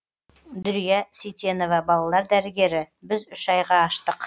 дүрия сейтенова балалар дәрігері біз үш айға аштық